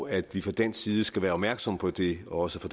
at vi fra dansk side skal være opmærksomme på det og også